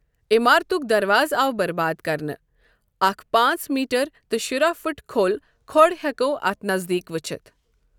عمارتٗك دروازٕ آو برباد كرنہٕ ، اكھ پانژھ میٹر تہٕ شُراہ فٗٹ كھو٘ل كھو٘ڈ ہیكو٘ اتھ نزدیك وٗچھِتھ ۔